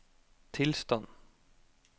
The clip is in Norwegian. tilstand